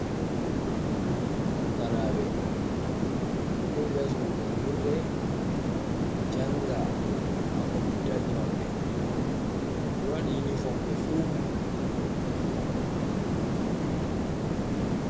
Pukaraɓe ɓeɗo joɗi ha sudu jangirde janga ha computaji maɓɓe ɓe wadi unifon ɓe fu.